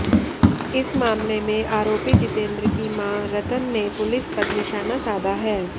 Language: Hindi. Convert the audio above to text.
इस मामले में आरोपी जितेंद्र की मां रतन ने पुलिस पर निशाना साधा है